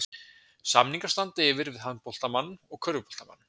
Samningar standa yfir við handboltamann og körfuboltamann.